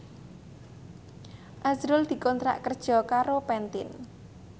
azrul dikontrak kerja karo Pantene